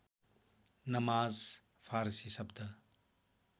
नमाज फारसी शब्द